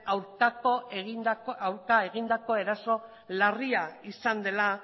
aurka egindako eraso larria izan dela